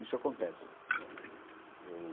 Isso acontece. Né eu